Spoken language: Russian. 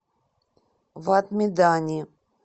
вад медани